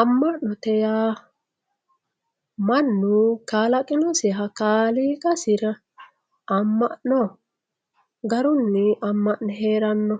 Ama'note yaa mannu kalaqinosiha kaaliiqasi ama'no garunni ama'ne heerano